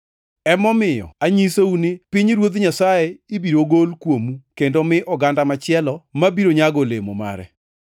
“Emomiyo anyisou ni pinyruodh Nyasaye ibiro gol kuomu kendo mi oganda machielo ma biro nyago olemo mare.